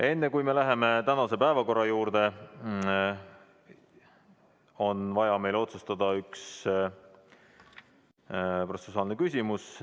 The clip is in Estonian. Enne, kui me läheme tänase päevakorra juurde, on meil vaja otsustada üks protseduuriline küsimus.